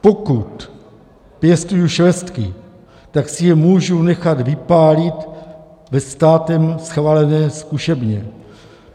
Pokud pěstuji švestky, tak si je můžu nechat vypálit ve státem schválené zkušebně.